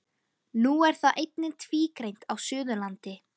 Nú er það einnig tvígreint á Suðurlandi.